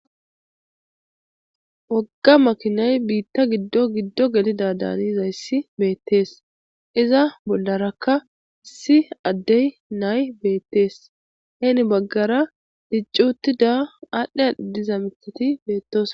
wogga makinay biitta giddo giddo gelida daanizayssi beettees iza bollarakka issi adde nay beettees heeni baggara diccuttida aadhdhei adhi diza mithati beettosona